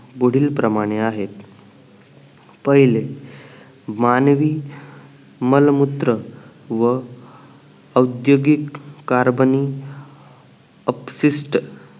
पुढील प्रमाणे आहेत पहिले मानवी मलमूत्र व औद्द्योगिक कार्बनी अपसिस्ट